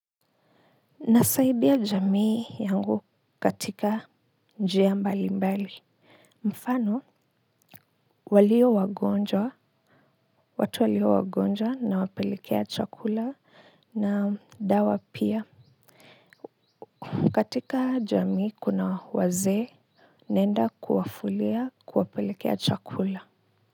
Nasaidia jamii yangu katika njia mbali mbali mfano walio wagonjwa watu walio wagonjwa nawapelekea chakula na dawa pia katika jamii kuna wazee naenda kuwafulia kuwapelekea chakula.